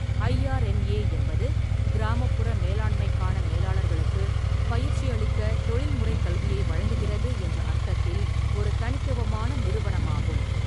IRMA என்பது கிராமப்புற மேலாண்மைக்கான மேலாளர்களுக்கு பயிற்சியளிக்க தொழில்முறை கல்வியை வழங்குகிறது என்ற அர்த்தத்தில் ஒரு தனித்துவமான நிறுவனமாகும்.